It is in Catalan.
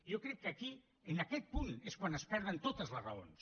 jo crec que aquí en aquest punt és quan es perden totes les raons